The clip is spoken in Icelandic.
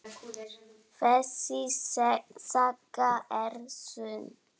Þessi saga er sönn.